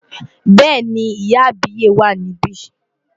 Bẹ́ẹ̀ni, ìyá àbíyè wà níbí.